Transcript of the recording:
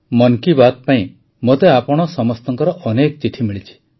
ମନ୍ କି ବାତ୍ ପାଇଁ ମୋତେ ଆପଣ ସମସ୍ତଙ୍କର ଅନେକ ଚିଠି ମିଳିଛି